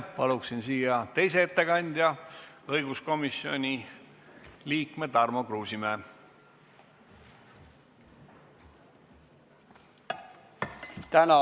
Palun siia teise ettekandja, õiguskomisjoni liikme Tarmo Kruusimäe.